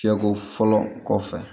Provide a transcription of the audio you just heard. Fiyɛko fɔlɔ kɔfɛ